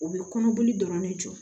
U bɛ kɔnɔboli dɔrɔn de jɔ